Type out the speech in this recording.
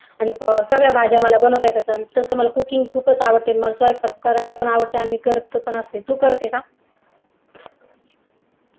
आणि सगळ्या भाज्या मला बनवता येतं तसं मला cooking खुपच आवडते स्वयंपाक करायला पण आवडते आणि मी स्वयंपाक देखील करते तू करते का?